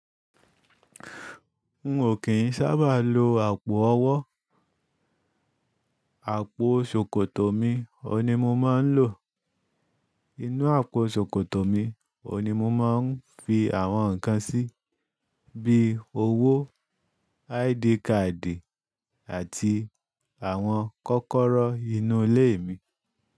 N ò kìí sábà ló àpò ọwọ́. Àpò sòkòtò mi ọun ni mo máa ń lò. Inú àpò sòkòtò mi ọun ni mo máa ń fi àwọn nǹkan sí, bíi owó, ID card àti àwọn kọ́kọ́rọ́ inú ilé mi.